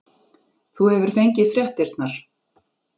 Þú hefur fengið fréttirnar?